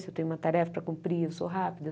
Se eu tenho uma tarefa para cumprir, eu sou rápida.